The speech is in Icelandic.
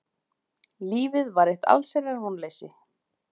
Lífið var eitt allsherjar vonleysi.